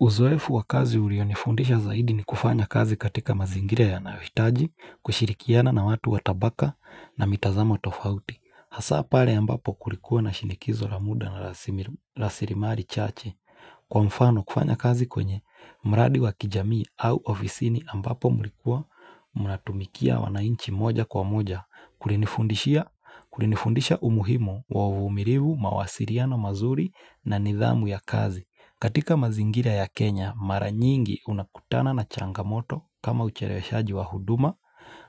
Uzoefu wa kazi ulionifundisha zaidi ni kufanya kazi katika mazingira yanayohitaji, kushirikiana na watu wa tabaka na mitazamo tofauti. Hasa pale ambapo kulikuwa na shinikizo la muda wa rasilimali chache kwa mfano kufanya kazi kwenye mradi wa kijamii au ofisini ambapo mlikuwa mnatumikia wananchi moja kwa moja kulinifundisha umuhimu wa uvumilivu mawasiliano mazuri na nidhamu ya kazi. Katika mazingira ya Kenya, mara nyingi unakutana na changamoto kama ucheleweshaji wa huduma,